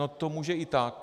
No to může i tak.